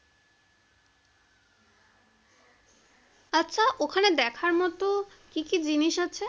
ওখানে দেখার মত কি কি জিনিস আছে?